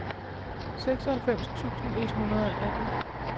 seksoghalvfems tusind et hundrede og atten